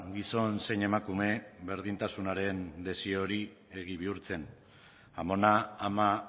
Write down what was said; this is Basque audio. gizon zein emakume berdintasunaren desio hori egi bihurtzen amona ama